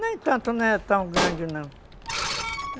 Nem tanto, não é tão grande não.